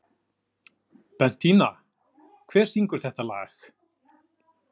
Bentína, hver syngur þetta lag?